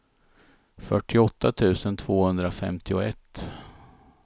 fyrtioåtta tusen tvåhundrafemtioett